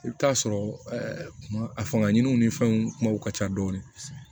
I bɛ t'a sɔrɔ kuma a fangadunw ni fɛnw kumaw ka ca dɔɔni